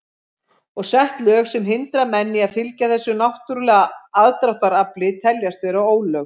Og sett lög sem hindra menn í að fylgja þessu náttúrulega aðdráttarafli teljast vera ólög.